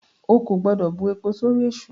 O kò gbọ́dọ̀ bu epo sórí èṣù!